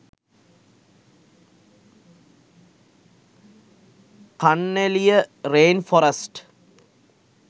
kanneliya rain forest